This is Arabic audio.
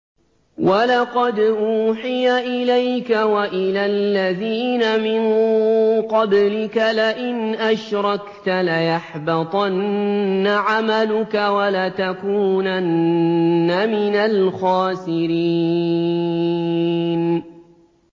وَلَقَدْ أُوحِيَ إِلَيْكَ وَإِلَى الَّذِينَ مِن قَبْلِكَ لَئِنْ أَشْرَكْتَ لَيَحْبَطَنَّ عَمَلُكَ وَلَتَكُونَنَّ مِنَ الْخَاسِرِينَ